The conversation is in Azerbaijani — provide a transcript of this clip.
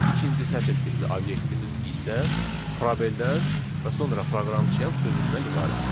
İkinci sətir tipli obyektimiz isə probeldən və sonra proqramçıyam sözündən ibarətdir.